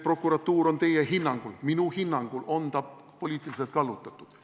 Prokuratuur on minu hinnangul poliitiliselt kallutatud.